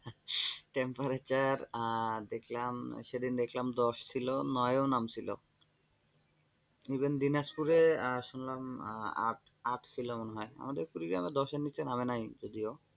temparature আহ দেখলাম, সেদিন দেখলাম দশ ছিল, নয় ও নাম ছিলো even দিনাজপুরে শুনলাম আট, আট ছিল মনে হয়। আমাদের কুড়ি দশের নীচে নামে নাই যদিও,